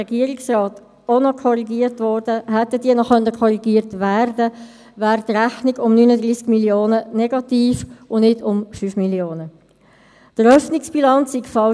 : Der Regierungsrat wird aufgefordert, den Nutzen der Anlehnung an IPSAS sowie die Folgen einer möglichen Abkehr von IPSAS in der Rechnungslegung zu prüfen.